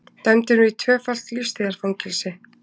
Dæmdur í tvöfalt lífstíðarfangelsi